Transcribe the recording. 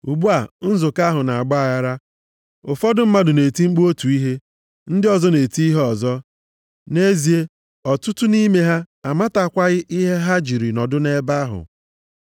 Ugbu a, nzukọ ahụ na-agba aghara, ụfọdụ mmadụ na-eti mkpu otu ihe, ndị ọzọ na-eti ihe ọzọ. Nʼezie, ọtụtụ nʼime ha amatakwaghị ihe ha jiri nọdụ nʼebe ahụ.